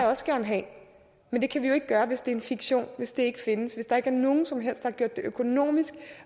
også gerne have men det kan vi jo ikke gøre hvis det er fiktion hvis det ikke findes hvis der ikke er nogen som helst der har gjort det økonomisk